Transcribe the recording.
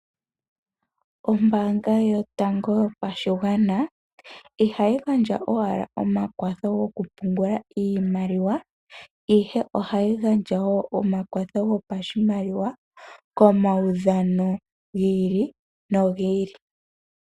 Ombaanga yotango yopashigwana ihayi gandja owala omakwatho gokupungula iimaliwa, ihe ohayi gandja wo omakwatho gopashimaliwa komaudhano gi ili nogi ili.